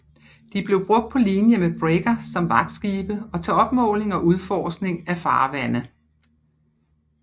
De blev brugt på linje med brigger som vagtskibe og til opmåling og udforskning af farvande